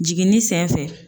Jiginni senfɛ